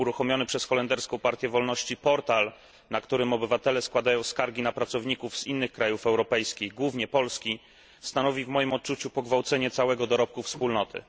Uruchomiony przez holenderską Partię Wolności portal, na którym obywatele składają skargi na pracowników z innych krajów europejskich, głównie Polski, stanowi w moim odczuciu pogwałcenie całego dorobku Wspólnoty.